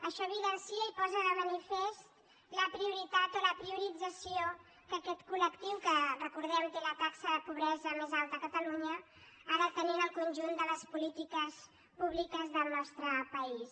això evidencia i posa de manifest la prioritat o la priorització que aquest coltaxa de pobresa més alta a catalunya ha de tenir en el conjunt de les polítiques públiques del nostre país